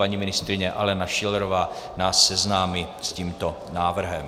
Paní ministryně Alena Schillerová nás seznámí s tímto návrhem.